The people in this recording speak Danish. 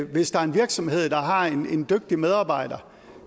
hvis der er en virksomhed der har en dygtig medarbejder